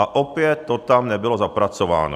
A opět to tam nebylo zapracováno.